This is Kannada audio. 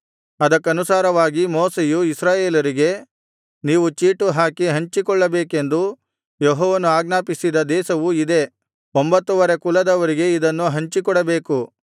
ಅದಕ್ಕನುಸಾರವಾಗಿ ಮೋಶೆಯು ಇಸ್ರಾಯೇಲರಿಗೆ ನೀವು ಚೀಟುಹಾಕಿ ಹಂಚಿಕೊಳ್ಳಬೇಕೆಂದು ಯೆಹೋವನು ಆಜ್ಞಾಪಿಸಿದ ದೇಶವು ಇದೇ ಒಂಭತ್ತುವರೆ ಕುಲದವರಿಗೆ ಇದನ್ನು ಹಂಚಿಕೊಡಬೇಕು